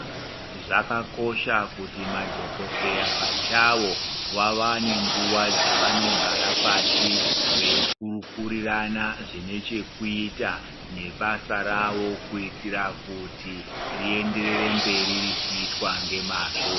Zvakakosha kuti madhokodheya pachawo vawane nguwa dzevanogara pashi veikurukurirana zvine chekuita nebasa rawo. Kuitira kuti rienderere mberi richiitwa ngemazvo.